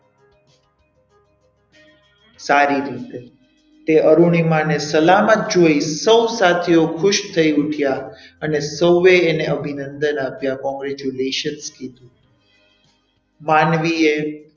સારી રીતે તે અરુણિમા ને સલામત જોઈ સૌ સાથીઓ ખુશ થઈ ઉઠ્યા અને સૌએ એને અભિનંદન આપ્યા congratulation કીધુ માનવીએ,